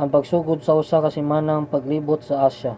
ang pagsugod sa usa ka semanang paglibot sa asya